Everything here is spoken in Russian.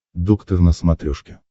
доктор на смотрешке